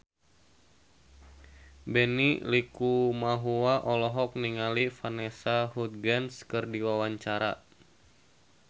Benny Likumahua olohok ningali Vanessa Hudgens keur diwawancara